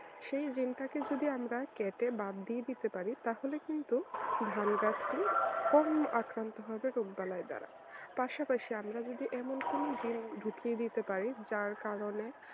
সেই জিনটাকে যদি কেটে বাদ দিয়ে দিতে পারি তাহলে কিন্তু ধান গাছটি কম আক্রান্ত হবে রোগবালাই দাঁড়া পাশাপাশি আমরা যদি এমন কোন জিন ঢুকিয়ে দিতে পারি যার কারণে